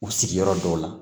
U sigiyɔrɔ dɔw la